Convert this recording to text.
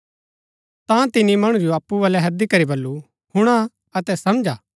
ता तिनी मणु जो अप्पु बलै हैदी करी बल्लू हुणा अतै समझा